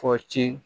Fɔ ci